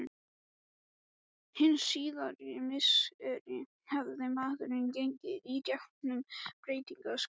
Hin síðari misseri hafði maðurinn gengið í gegn um breytingaskeið.